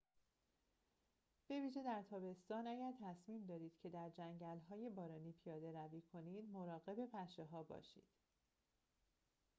به ویژه در تابستان اگر تصمیم دارید که در جنگل‌های بارانی پیاده روی کنید مراقب پشه‌ها باشید